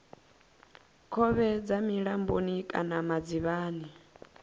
khovhe dza milamboni kana madzivhani